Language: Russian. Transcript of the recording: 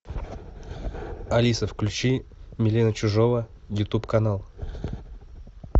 алиса включи милена чижова ютуб канал